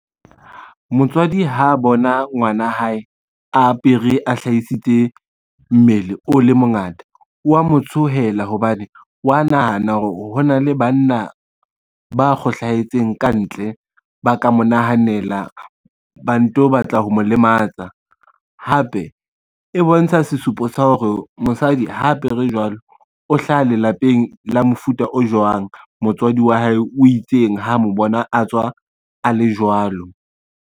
Motswadi ha bona ngwana hae a apere a hlahisitse mmele o le mongata wa mo tsohela hobane, wa nahana hore ho na le banna ba kgohlahetseng kantle, ba ka mo nahanela ba ntso batla ho mo lematsa. Hape e bontsha sesupo sa hore mosadi ha apere jwalo o hlaha lelapeng la mofuta o jwang, motswadi wa hae o itseng ha mo bona a tswa a le jwalo.